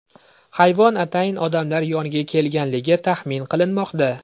Hayvon atayin odamlar yoniga kelganligi taxmin qilinmoqda.